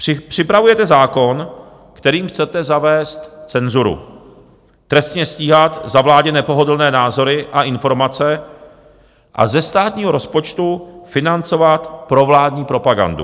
Připravujete zákon, kterým chcete zavést cenzuru, trestně stíhat za vládě nepohodlné názory a informace a ze státního rozpočtu financovat provládní propagandu.